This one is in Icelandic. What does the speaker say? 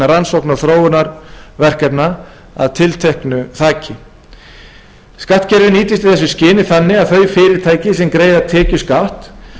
rannsókna og þróunarverkefna að tilteknu þaki skattkerfið nýtist í þessu skyni þannig að þau fyrirtæki sem greiða tekjuskatt